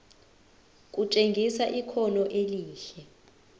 kutshengisa ikhono elihle